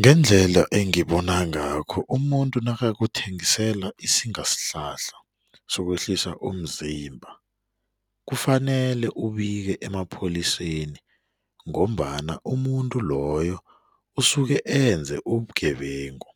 Ngendlela engibona ngakho umuntu nakakuthengisela isingasihlahla sokwehlisa umzimba kufanele ubike emapholiseni ngombana umuntu loyo usuke enze ubugebengu